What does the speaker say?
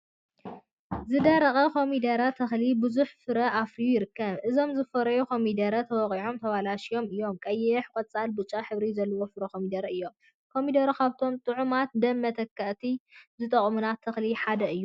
ዝደረቀ ኮሚደረ ተክሊ ቡዙሕ ፍረ አፍርዩ ይርከብ። እዞም ዝፈረዩ ኮሚደረታት ተወቂዖምን ተበላሽዮምን እዮም። ቀይሕ፣ ቆፃልንብጫን ሕብሪ ዘለዎም ፍረ ኮሚደረታት እዮም። ኮሚደረ ካብቶም ጥዑማትን ደም መተክኢ ዝጠቅሙና ተክሊታት ሓደ እዩ።